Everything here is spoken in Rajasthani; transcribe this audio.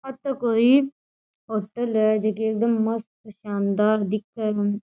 ओ तो कोई होटल है जोकि एकदम मस्त है शानदार दिखे है।